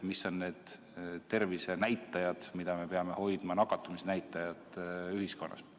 Milliseid nakatumisnäitajaid me peame silmas pidama?